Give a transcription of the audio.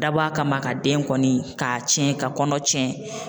Dabɔ a kama ka den kɔni k'a tiɲɛ ka kɔnɔ tiɲɛ